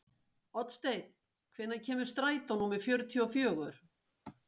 Oddsteinn, hvenær kemur strætó númer fjörutíu og fjögur?